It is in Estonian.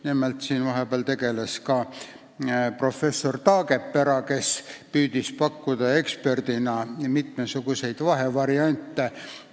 Nimelt tegeles sellega ka professor Taagepera, kes eksperdina püüdis pakkuda mitmesuguseid vahevariante.